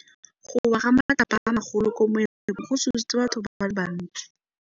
Go wa ga matlapa a magolo ko moepong go tshositse batho ba le bantsi.